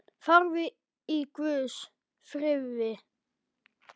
Farðu í Guðs friði.